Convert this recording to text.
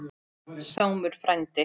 Sámur frændi